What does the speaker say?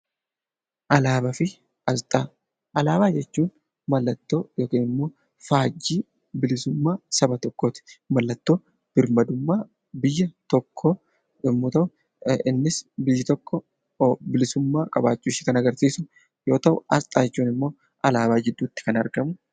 Alaabaa jechuun mallattoo yookiin immoo faajjii bilisummaa saba tokkooti. Mallattoon birmadummaa biyya tokkoo yommuu ta'u, innis biyyi tokko bilisummaa qabaachuushee kan agarsiisu yoo ta'u, asxaa jechuun immoo alaabaa jidduutti kan argamu.